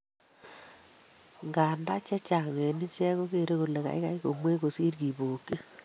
Ndandan chechang en icheck kogere kole kaigai komwei kosir kobokyin